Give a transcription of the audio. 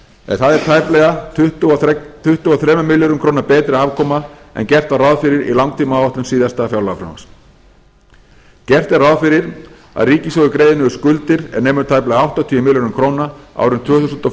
en það er tæplega tuttugu og þremur milljörðum króna betri afkoma en gert var ráð fyrir í langtímaáætlun síðasta fjárlagafrumvarps gert er ráð fyrir að ríkissjóður greiði niður skuldir er nemur tæplega áttatíu milljörðum króna árin tvö þúsund og